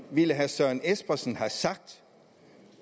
ville herre søren espersen have sagt